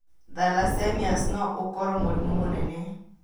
Thalassemias no ũkorũo mũrimũ mũnene.